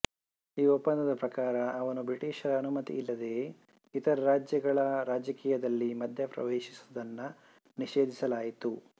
ಈ ಒಪ್ಪಂದದ ಪ್ರಕಾರ ಅವನು ಬ್ರಿಟಿಷರ ಅನುಮತಿ ಇಲ್ಲದೆಯೇ ಇತರ ರಾಜ್ಯಗಳ ರಾಜಕೀಯದಲ್ಲಿ ಮಧ್ಯಪ್ರವೇಶಿಸುವುದನ್ನು ನಿಷೇಧಿಸಲಾಯಿತು